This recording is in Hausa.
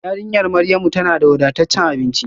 Yarinyar Maryamu tana da wadataccen abinci